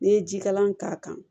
N'i ye jikalan k'a kan